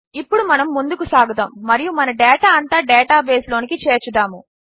ఇప్పుడు మనము ముందుకు సాగుదాము మరియు మన డేటా అంతా డేటాబేస్లోనికి చేర్చుదాము